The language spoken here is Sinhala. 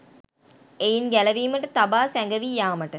එයින් ගැලවීමට තබා සැඟවී යාමට